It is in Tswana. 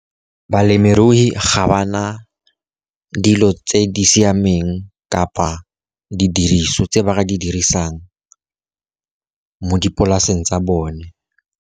Balemirui ga ba na dilo tse di siameng kapa didiriswa tse ba ka di dirisang mo dipolaseng tsa bone.